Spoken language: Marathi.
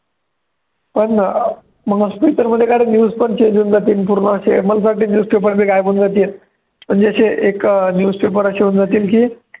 का रे news पण change होऊन जातील पूर्ण असे मला असं वाटतं newspaper पण गायब होऊन जातील म्हणजे असे एक अं newspaper असे होऊन जातील की